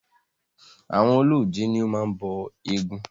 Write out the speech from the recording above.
Àwọn ọlọ́jẹ̀ ní o máa ń bọ eégún.